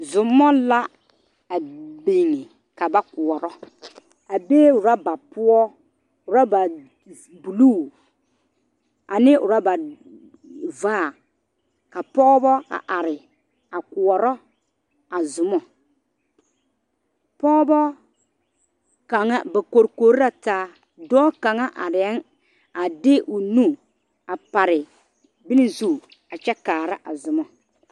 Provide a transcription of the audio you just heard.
zomɔ la a bing kaba koɔrɔ a be oraba poɔ oraba buluu ane oraba vaare ka pɔgebo a are a koɔrɔ a zomɔ pɔgbɔ kanga ba korikori la taa dɔɔ kanga arɛɛ a de o nu a pare bone zu a kyɛ kaara a zomɔ